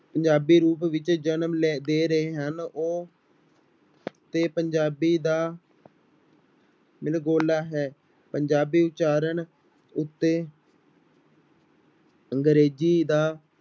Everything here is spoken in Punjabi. ਪੰਜਾਬੀ ਰੂਪ ਵਿੱਚ ਜਨਮ ਲੈ ਦੇ ਰਹੇ ਹਨ ਉਹ ਤੇ ਪੰਜਾਬੀ ਦਾ ਮਿਲ ਗੋਲਾ ਹੈ, ਪੰਜਾਬੀ ਉਚਾਰਨ ਉੱਤੇ ਅੰਗਰੇਜ਼ੀ ਦਾ